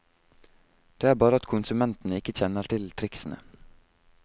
Det er bare at konsumentene ikke kjenner til tricksene.